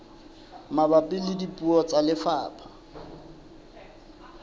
mabapi le puo tsa lefapha